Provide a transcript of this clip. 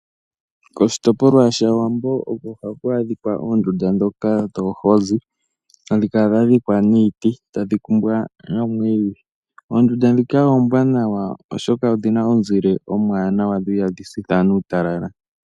Koshitopolwa sha Wambo oko haku adhika oondunda dhoka dhoohozi, hadhi kala dha dhikwa niiti tadhi kumbwa noomwiidhi. Oondunda dhika oombwanawa oshoka odhi na omuzile omuwanawa dho ihadhi sitha aantu uutalala.